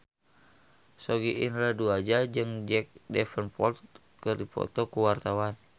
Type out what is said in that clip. Sogi Indra Duaja jeung Jack Davenport keur dipoto ku wartawan